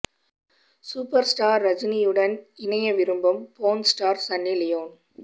super star ரஜினியுடன் இணைய விரும்பும் போர்ன் ஸ்டார் சன்னி லியோன்